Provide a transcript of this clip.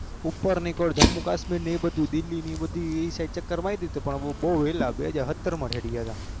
ઉપર નિકોર ધામ કાશ્મીર એબડું દિલ્લી એ બાજુ ચક્ર માર્યા બૌ વેલા બેહજાર હત્ર માં